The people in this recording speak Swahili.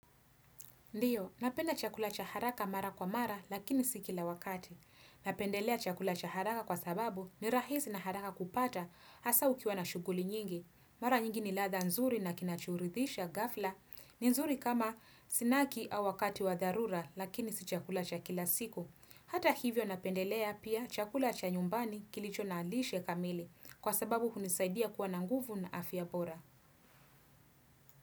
Ndiyo, napenda chakula cha haraka mara kwa mara lakini si kila wakati. Napendelea chakula cha haraka kwa sababu ni rahisi na haraka kupata hasa ukiwa na shughuli nyingi. Mara nyingi ni ladha nzuri na kinachoridhisha ghafla ni nzuri kama snaki au wakati wa dharura lakini si chakula cha kila siku. Hata hivyo napendelea pia chakula cha nyumbani kilicho na lishe kamili kwa sababu hunisaidia kuwa na nguvu na afya bora.